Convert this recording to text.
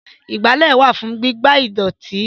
Ìgbálẹ́ wà fún gígbá ìdọ̀tí